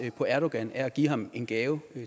på erdogan er at give ham en gave